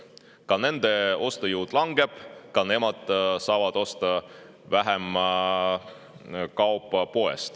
Ka nende ostujõud langeb, ka nemad saavad poest osta vähem kaupa.